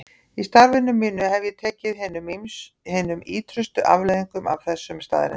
Í starfi mínu hef ég tekið hinum ýtrustu afleiðingum af þessum staðreyndum.